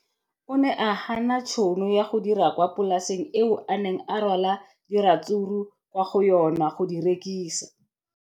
O ne a gana tšhono ya go dira kwa polaseng eo a neng rwala diratsuru kwa go yona go di rekisa.